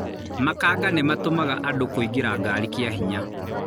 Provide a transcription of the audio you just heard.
Makanga nĩmatũmaga andũ kũingĩra gari kĩa hinya.